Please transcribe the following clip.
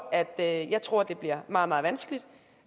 at jeg tror det bliver meget meget vanskeligt